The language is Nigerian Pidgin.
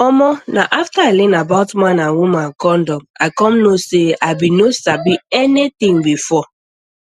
omo na after i learn about man and woman condom i come know say i bin no sabi anything before